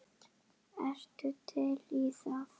Ertu til í það?